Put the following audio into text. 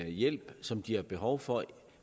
hjælp som de har behov for